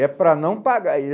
É para não pagar.